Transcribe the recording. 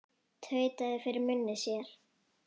Tautaði fyrir munni sér.